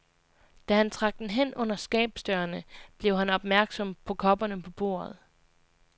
Da han trak den hen under skabsdørene, blev han opmærksom på kopperne på bordet.